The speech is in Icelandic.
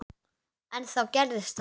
En þá gerðist það.